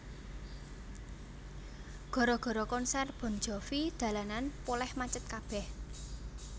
Gara gara konser Bon Jovi dalanan poleh macet kabeh